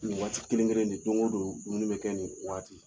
Nin waati kelen kelen de don o don dumuni bɛ kɛ nin waati.